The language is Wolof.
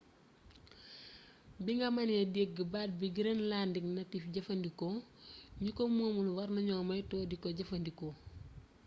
binga meené dégg baat bi greenlandic native jeefeendiko gniko moomul warna gno meeytu diko jeeffee ndiko